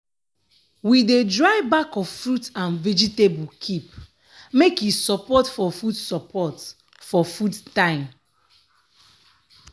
we dey dry back of fruit and vegetable keep make e support for food support for food time.